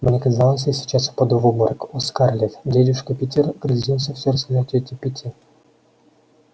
мне казалось я сейчас упаду в обморок о скарлетт дядюшка питер грозится всё рассказать тете питти